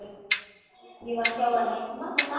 Ég var hjá henni í marga daga.